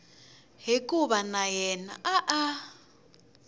hikuva na yena a a